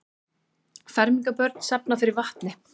Fermingarbörn safna fyrir vatni